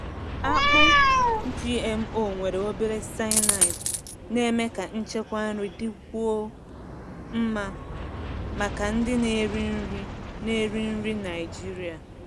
Akpụ GMO nwere obere cyanide na-eme ka nchekwa nri dịkwuo mma maka ndị na-eri nri na-eri nri Naijiria.